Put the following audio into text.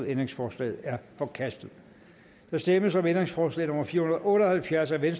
ændringsforslaget er forkastet der stemmes om ændringsforslag nummer fire hundrede og otte og halvfjerds af v